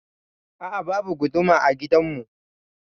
A'a, babu guduma a gidan mu.